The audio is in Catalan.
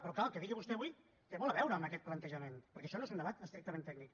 però clar el que digui vostè avui té molt a veure amb aquest plantejament perquè això no és un debat estrictament tècnic